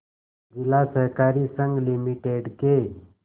जिला सहकारी संघ लिमिटेड के